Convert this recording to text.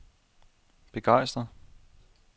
begejstret